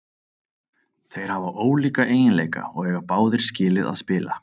Þeir hafa ólíka eiginleika og eiga báðir skilið að spila.